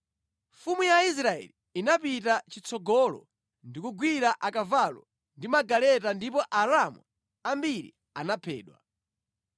Mfumu ya Israeli inapita chitsogolo ndi kugwira akavalo ndi magaleta ndipo Aaramu ambiri anaphedwa.